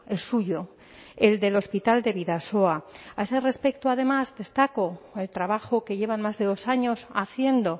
el suyo el del hospital de bidasoa a ese respecto además destacó el trabajo que llevan más de dos años haciendo